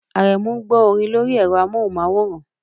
Aremu ń gbọ́ orin lórí ẹ̀rọ amóhùnmáwòrán